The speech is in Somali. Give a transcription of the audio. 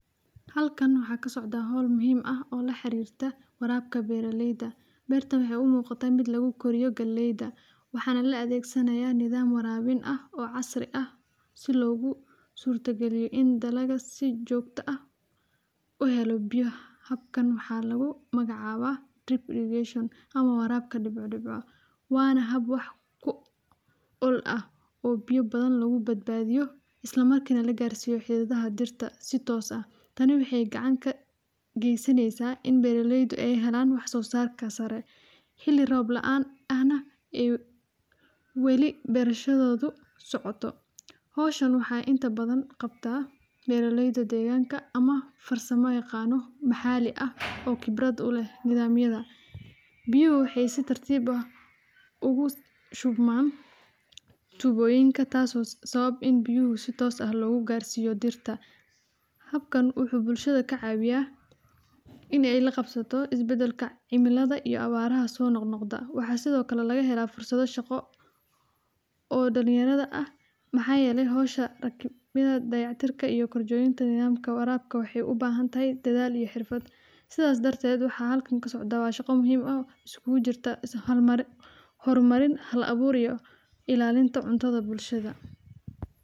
Qudhacyada biyaha waxay muhiim u yihiin beeraha si ay u xalliyaan arrimaha la xiriira biyaha oo ay ku sii wadaan dhirta biyo ku filan oo ay ka helaan nafaqo iyo wanaag, sidaas darteed qaabka loo isticmaalo biyaha waa in uu ahaadaa mid wax ku ool ah oo lagu maareeyo si habsami leh oo aan laga harmeyneyn deegaanka, taas oo keenta in la isticmaalo khayraadka biyaha si macquul ah oo aan la isku filin, gaar ahaan goobaha ay yartahay roobabka ama kuwa qallafsan, sidaa awgeed waa in la adeegsado qalab iyo qaabab kala duwan oo loogu talagalay in lagu dhex maro biyaha si sax ah oo loo qaybiyo dhirta si siman oo aan la dhibin, tusaale ahaan qalabka.